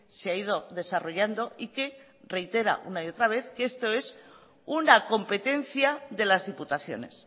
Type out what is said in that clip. se ha ido desarrollando y que reitera una y otra vez que esto es una competencia de las diputaciones